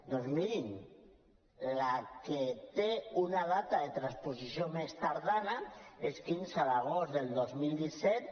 doncs mirin la que té una data de transposició mes tardana és quinze d’agost del dos mil disset